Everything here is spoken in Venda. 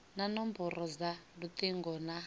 na nomboro dza lutingo na